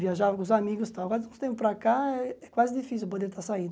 Viajava com os amigos e tal, mas de um tempo para cá é quase difícil eu poder estar saindo.